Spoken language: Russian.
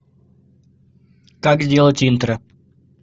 как сделать интро